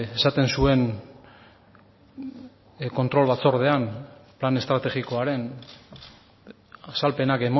esaten zuen kontrol batzordean plan estrategikoaren azalpenak